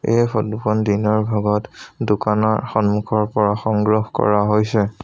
এই ফটো খন দিনৰ ভাগত দোকানৰ সন্মুখৰ পৰা সংগ্ৰহ কৰা হৈছে।